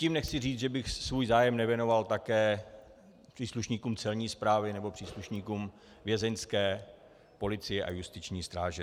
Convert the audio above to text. Tím nechci říct, že bych svůj zájem nevěnoval také příslušníkům Celní správy nebo příslušníkům vězeňské policie a justiční stráže.